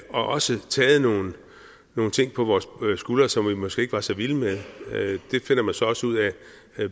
og har også taget nogle nogle ting på vores skuldre skuldre som vi måske ikke var så vilde med det finder man så også ud af